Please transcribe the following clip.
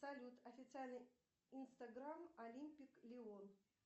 салют официальный инстаграм олимпик лион